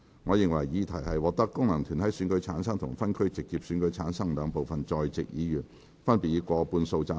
我認為議題獲得經由功能團體選舉產生及分區直接選舉產生的兩部分在席議員，分別以過半數贊成。